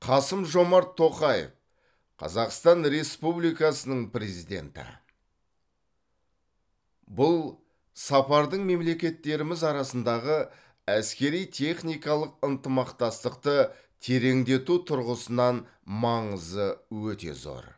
қасым жомарт тоқаев қазақстан республикасының президенті бұл сапардың мемлекеттеріміз арасындағы әскери техникалық ынтымақтастықты тереңдету тұрғысынан маңызы өте зор